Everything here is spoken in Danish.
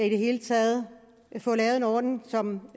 i det hele taget får lavet en ordning som